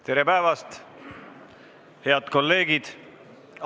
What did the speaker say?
Tere päevast, head kolleegid!